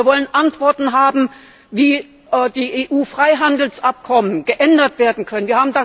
Wir wollen Antworten haben, wie die EU Freihandelsabkommen geändert werden können.